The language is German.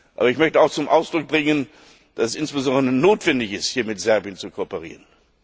Aber ich möchte auch zum Ausdruck bringen, dass es notwendig ist, mit Serbien zu kooperieren.